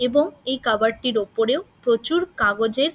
এবং এই কভার টির উপরেও প্রচুর কাগজের--